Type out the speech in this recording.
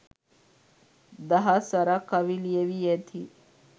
දහස් වරක් කවි ලියැවි ඇති